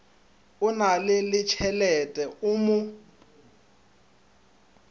o na letšhelete o mo